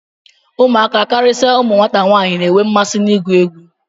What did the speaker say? Ụmụaka, karịsịa ụmụ nwata nwaanyị na-enwe mmasị n'ịgụ egwu